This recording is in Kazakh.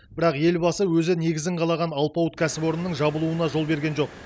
бірақ елбасы өзі негізін қалаған алпауыт кәсіпорынның жабылуына жол берген жоқ